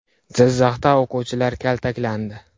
Jizzaxda o‘quvchilar kaltaklandi.